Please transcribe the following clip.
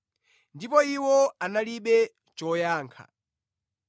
Ndipo iwo analibe choyankha.